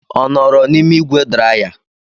Ọ nọọrọ n'ime ígwè draya?